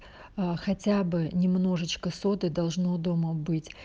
хотя бы немножечко соды должно дома быть